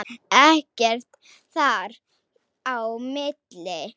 Ekkert þar á milli.